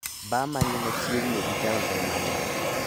bar ma ni machiegni gi taon en mane?